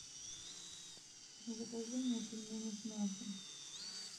закажи мне пельмени с мясом